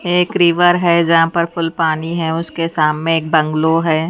एक रिवर है जहां पर फुल पानी है उसके साममे एक बंगलो है।